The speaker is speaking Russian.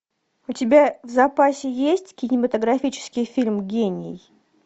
у тебя в запасе есть кинематографический фильм гений